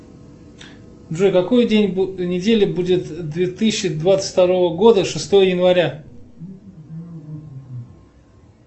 джой какой день недели будет две тысячи двадцать второго года шестое января